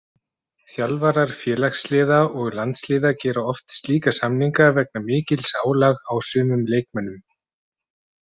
Þjálfarar félagsliða og landsliða gera oft slíka samninga vegna mikils álags á sumum leikmönnum.